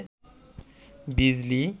বিজলি